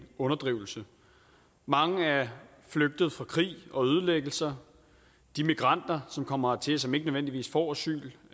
underdrivelse mange er flygtet fra krig og ødelæggelse de migranter som kommer hertil og som ikke nødvendigvis får asyl